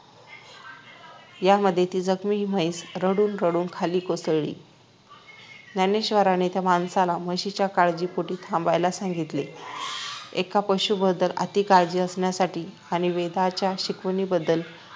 यामध्ये ती जखमी म्हैस रडून रडून खाली कोसळली ज्ञानेश्वरांनी त्या माणसाला म्हशीच्या काळजीपोटी थांबायला सांगितले एका पशुबद्दल अति काळजी असण्यासाठी आणि वेदांच्या शिकवणींबद्दल